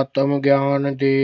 ਆਤਮ ਗਿਆਨ ਦੇ